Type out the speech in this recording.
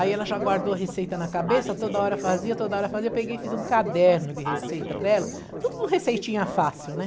Aí ela já guardou a receita na cabeça, toda hora fazia, toda hora fazia, eu peguei e fiz um caderno de receita para ela, tudo com receitinha fácil, né?